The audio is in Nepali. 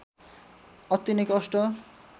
अति नै कष्ट